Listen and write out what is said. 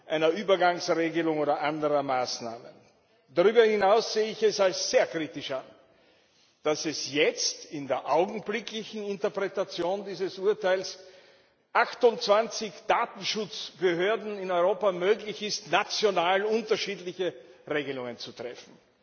einer Übergangsregelung oder anderen Maßnahmen. Darüber hinaus sehe ich es als sehr kritisch an, dass es jetzt in der augenblicklichen Interpretation dieses Urteils 28 Datenschutzbehörden in Europa möglich ist, national unterschiedliche Regelungen zu treffen.